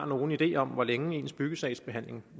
nogen idé om hvor længe ens byggesagsbehandling